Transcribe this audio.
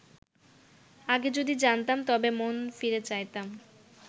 আগে যদি জানতাম তবে মন ফিরে চাইতাম